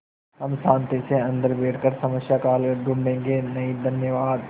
हम शान्ति से अन्दर बैठकर समस्या का हल ढूँढ़े गे नहीं धन्यवाद